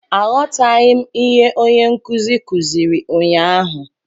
Aghọtaghị m ihe onye nkuzi kuziri ụnyahụ